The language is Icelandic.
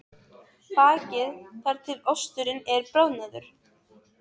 Bakið þar til osturinn er bráðnaður.